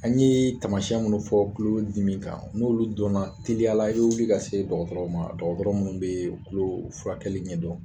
An ye tamasiyɛn minnu fɔ kulo dimi kan n'olu donna teliyala i bɛ wili ka se dɔgɔtɔrɔ ma dɔgɔtɔrɔ minnu bɛ kulo furakɛli ɲɛdɔn.